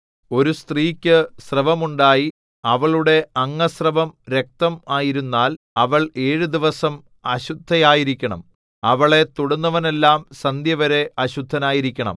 ഒരു സ്ത്രീക്ക് സ്രവമുണ്ടായി അവളുടെ അംഗസ്രവം രക്തം ആയിരുന്നാൽ അവൾ ഏഴു ദിവസം അശുദ്ധയായിരിക്കണം അവളെ തൊടുന്നവനെല്ലാം സന്ധ്യവരെ അശുദ്ധനായിരിക്കണം